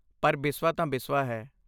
ਪਰ ਬਿਸਵਾ ਤਾਂ ਬਿਸਵਾ ਹੈ।